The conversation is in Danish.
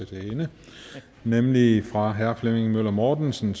til hende nemlig fra herre flemming møller mortensen